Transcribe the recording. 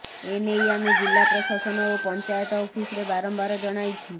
ଏନେଇ ଆମେ ଜିଲ୍ଲା ପ୍ରଶାସନ ଓ ପଞ୍ଚାୟତ ଅଫିସରେ ବାରମ୍ୱାର ଜଣାଇଛୁ